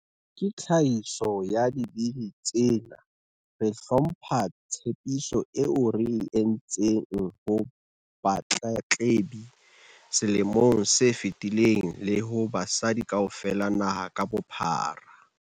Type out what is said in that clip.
Ka tlhahiso ya Dibili tsena, re hlompha tshepiso eo re e entseng ho batletlebi selemong se fetileng le ho basadi kaofela naha ka bophara.